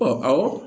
Ɔ awɔ